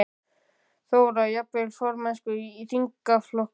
Þóra: Jafnvel formennsku í þingflokknum?